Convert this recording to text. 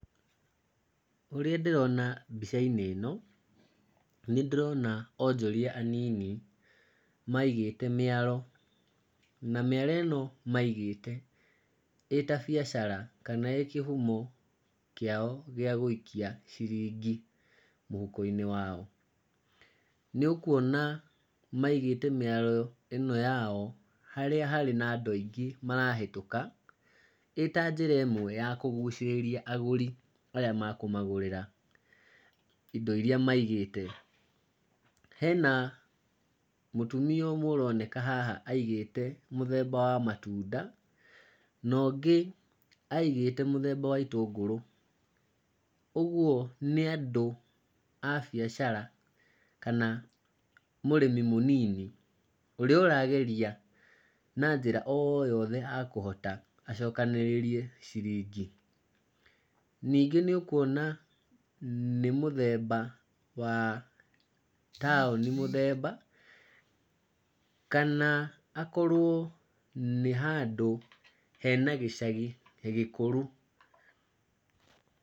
Ũrĩa ndĩrona mbica-inĩ ĩno, nĩ ndĩrona onjoria anini maigĩte mĩaro. Na mĩaro ĩno maigĩte ĩta biacara kana ĩĩ kĩhumo kĩao gĩa gũikia ciringi mũhuko-inĩ wao. Nĩ ũkuona maigĩte mĩaro ĩno yao harĩa harĩ na andũ aingĩ marahĩtũka, ĩ ta njĩra ĩmwe ya kũgucĩrĩria agũri arĩa makũmagũrĩra indo irĩa maigĩte. Hena mũtumia ũmwe ũroneka haha aigĩte mũthemba wa matunda na ũngĩ aigĩte mũthemba wa itũngũrũ. Ũguo nĩ andũ a biacara, kana mũrĩmi mũnini ũrĩa ũrageria na njĩra o yothe akũhota acokanĩrĩrie ciringi. Ningĩ nĩ ũkuona nĩ mũthemba wa taũni mũthemba, kana akorwo nĩ handũ hena gĩcagi gĩkũru.